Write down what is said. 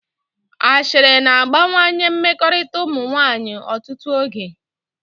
Ashịrị na-agbawanye mmekọrịta ụmụ nwaanyị ọtụtụ oge